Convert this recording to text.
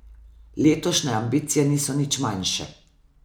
Letošnje ambicije niso nič manjše.